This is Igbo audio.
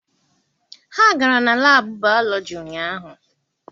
Ha gara na laabụ baalọji ụnyaahụ.